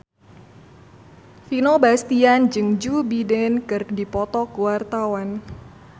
Vino Bastian jeung Joe Biden keur dipoto ku wartawan